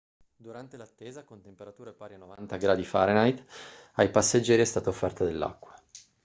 durante l'attesa con temperature pari a 90 °f ai passeggeri è stata offerta dell'acqua